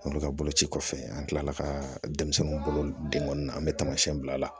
Olu ka boloci kɔfɛ an tilala ka denmisɛnninw bolo denkɔni na an bɛ tamasiɛn bila